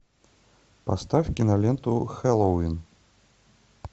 поставь киноленту хэллоуин